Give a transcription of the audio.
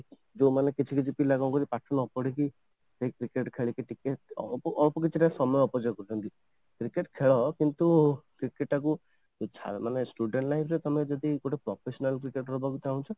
ଯୋଉ ମାନେ କିଛି କିଛି ପିଲା କ'ଣ କରୁଛନ୍ତି ପାଠ ନ ପଢିକି ଯାଇକି cricket ଖେଳିକି ଟିକେ ଅଳ୍ପ କିଛି ତା ସମୟ ଅପଯୋଗ କରୁଛନ୍ତି cricket ଖେଳ କିନ୍ତୁ cricket ଟା କୁ ମାନେ studeନ୍ତ life ରେ ତମେ ଯଦି professional Cricketer ହବାକୁ ଚାହୁଁଛ